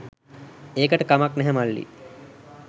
ඒකට කමක් නැහැ මල්ලී